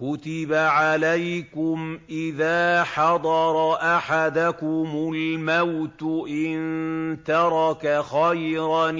كُتِبَ عَلَيْكُمْ إِذَا حَضَرَ أَحَدَكُمُ الْمَوْتُ إِن تَرَكَ خَيْرًا